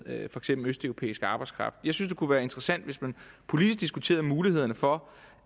af for eksempel østeuropæisk arbejdskraft jeg synes at det kunne være interessant hvis man politisk diskuterede mulighederne for